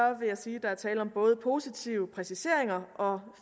jeg sige at der er tale om både positive præciseringer og